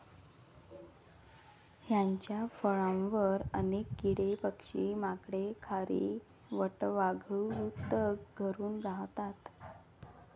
ह्यांच्या फळांवर अनेक किडे, पक्षी, माकडे, खारी, वटवाघळू तग घरून राहतात.